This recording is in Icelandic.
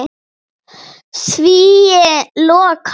Svíi lokast.